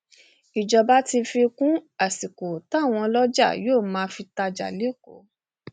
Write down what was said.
ìjọba fi kún àsìkò táwọn ọlọjà yóò máa fi tajà lẹkọọ